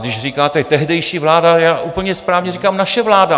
Když říkáte tehdejší vláda, já úplně správně říkám naše vláda.